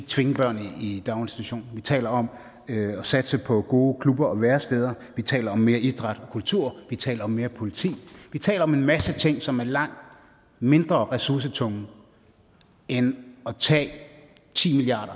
tvinge børn i daginstitution vi taler om at satse på gode klubber og væresteder vi taler om mere idræt og kultur vi taler om mere politi vi taler om en masse ting som er langt mindre ressourcetunge end at tage ti milliard